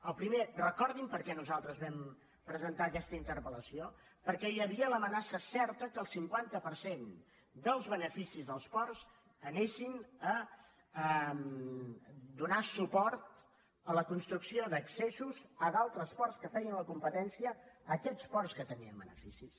el primer recordin perquè nosaltres vam presentar aquesta interpel50 per cent dels beneficis dels ports anessin a donar suport a la construcció d’accessos a d’altres ports que feien la competència a aquests ports que tenien beneficis